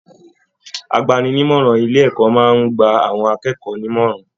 Àgbàni-ní-ìmọràn ilé ẹ̀kọ́ máa n gbà àwọn akẹ́kọ̀ọ́ nímọ̀ràn.